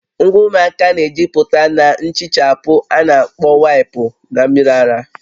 Ngwa ụmụaka na-ejupụta na nhichapụ a na-akpọ waịpụ na mmiri ara